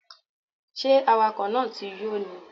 Ṣé awakọ̀ náà ti yó ni?